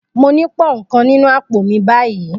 Mo ní pound kan nínú àpò mi báyìí.